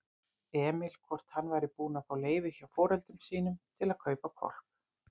Emil hvort hann væri búinn að fá leyfi hjá foreldrum sínum til að kaupa hvolp.